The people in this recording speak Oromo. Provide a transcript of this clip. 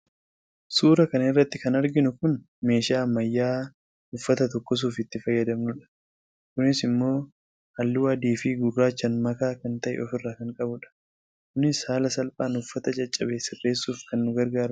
suuraa kana irratti kan arginu kun meeshaa ammayyaa'aa uffata tokkosuuf itti fayyadamnu dha. kunis immoo halluu adii fi gurraachaan makaa kan ta'e ofirraa kan qabu dha. kunis haala salphaan uffata caccabe sirreessuuf kan nu gargaarudha.